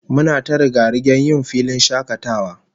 Muna ta riga-rigen yjn filin shakatawa